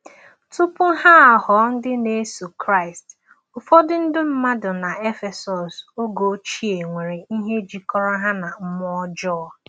Tupu ha aghọ ndị na-eso Kraịst, ụfọdụ ndị mmadụ na Efesọs oge ochie nwere ihe jikọrọ ha na mmụọ ọjọọ.